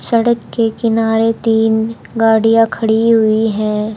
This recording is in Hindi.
सड़क के किनारे तीन गाड़ियां खड़ी हुई हैं।